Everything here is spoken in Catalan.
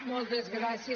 moltes gràcies